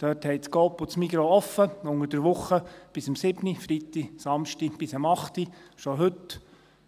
Dort haben Coop und Migros offen, unter der Woche bis um 19 Uhr, am Freitag und Samstag bis um 20 Uhr, schon heute …